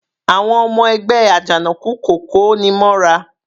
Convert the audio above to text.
Àwọn ọmọ ẹgbẹ́ Ajanoku kò koni mọ́ra.